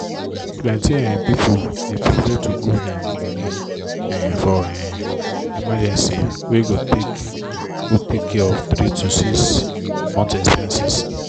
plenty um people dey prefer to grow dem money um for um emergency wey go take go take care of 3-6 month expenses